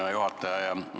Hea juhataja!